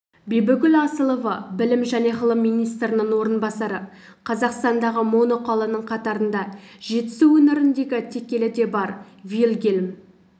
бибігүл асылова білім және ғылым министрінің орынбасары қазақстандағы моноқаланың қатарында жетісу өңіріндегі текелі де бар вильгелм